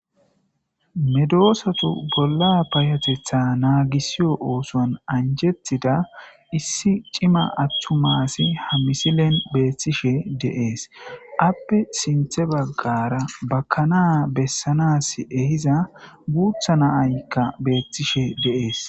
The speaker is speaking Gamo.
medosatu bolla payotetha naagisiyo oosuwan anjettida issi cima attumasi ha misilen beeththishe deees appe sinthe baggara bakana bessanas ehiza guutha naaykka beethtishe deees